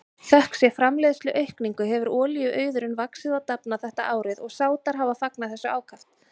Þökk sé framleiðsluaukningu hefur olíuauðurinn vaxið og dafnað þetta árið og Sádar hafa fagnað þessu ákaft.